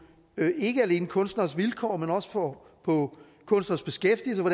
ikke alene kunstneres vilkår men også på på kunstneres beskæftigelse og